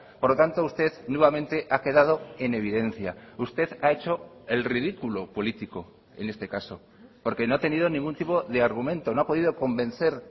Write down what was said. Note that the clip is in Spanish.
por lo tanto usted nuevamente ha quedado en evidencia usted ha hecho el ridículo político en este caso porque no ha tenido ningún tipo de argumento no ha podido convencer